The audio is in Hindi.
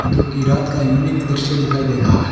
जो कि रात का यूनिक दृश्य दिखाई दे रहा है।